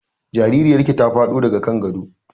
Jaririyar ki ta faɗo daga kan gado